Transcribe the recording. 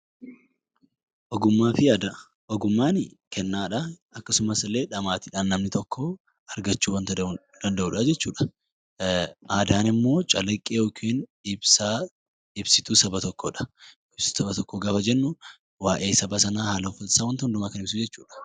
Ogummaa fi aadaa Ogummaanii kannaa dhaa. Akkasumas illee dhamaatiidhaan namni tokko argachuu wanta danda'uudhaa jechuu dha. Aadaan immoo calaqqee yookiin ibsaa ibsituu saba tokkoo dha. Ibsituu saba tokkoo gaafa jennu waayee saba sanaa, haala uffata isaa, wanta hundumaa kan ibsu jechuu dha.